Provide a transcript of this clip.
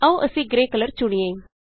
ਆਉ ਅਸੀਂ grey colour ਚੁਣੀਏ